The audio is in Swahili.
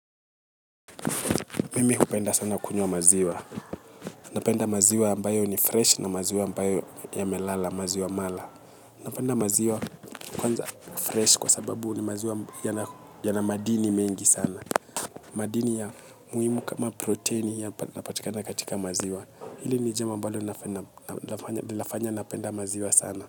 Mimihu penda sana kunywa maziwa. Napenda maziwa ambayo ni fresh na maziwa ambayo ya melala, maziwa mala. Napenda maziwa kwanza fresh kwa sababu ni maziwa yana madini mengi sana. Madini ya muhimu kama protein ya napatika na katika maziwa. Hili nijambo ambalo linafanya napenda maziwa sana.